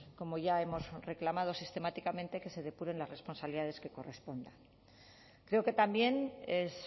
como ya hemos reclamado sistemáticamente que se depuren las responsabilidades que correspondan creo que también es